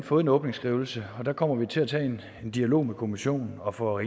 fået en åbningsskrivelse der kommer vi til at tage en dialog med kommissionen og for